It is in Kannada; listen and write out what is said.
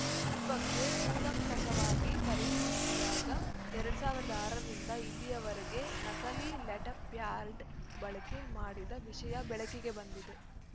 ಈ ಬಗ್ಗೆ ಕೂಲಂಕಷವಾಗಿ ಪರಿಶೀಲಿಸಿದಾಗ ಎರಡ್ ಸಾವಿರದ ಆರು ರಿಂದ ಇಲ್ಲಿಯವರೆಗೆ ನಕಲಿ ಲೆಟರ್‌ಪ್ಯಾಡ್‌ ಬಳಕೆ ಮಾಡಿದ ವಿಷಯ ಬೆಳಕಿಗೆ ಬಂದಿದೆ